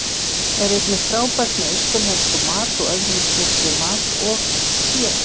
Er einnig frábært með austurlenskum mat og öðrum krydduðum mat, og eitt sér.